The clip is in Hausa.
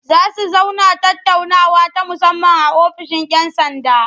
Za su zauna tattaunawa ta musamman a ofishin 'yan sanda.